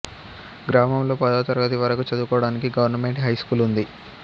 గ్రామంలో పదవ తరగతి వరకు చదువుకోవడానికి గవర్నమెంట్ హై స్కూల్ ఉంది